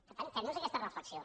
per tant fem nos aquesta reflexió